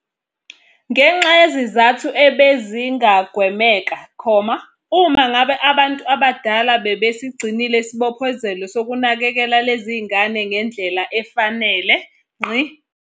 .ngenxa yezizathu ebezingagwemeka, uma ngabe abantu abadala bebesigcinile isibophezelo sokunakekela lezi zingane ngendlela efanele.